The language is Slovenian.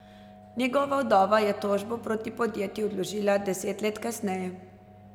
Njegova vdova je tožbo proti podjetju vložila deset let kasneje.